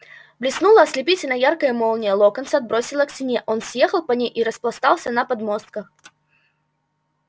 блеснула ослепительно яркая молния локонса отбросило к стене он съехал по ней и распластался на подмостках